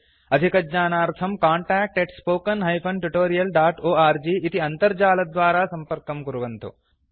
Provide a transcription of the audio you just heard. अधिकज्ञानार्थं contact spoken tutorialorg इति अन्तर्जालद्वारा सम्पर्कं कुर्वन्तु